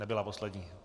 Nebyla poslední.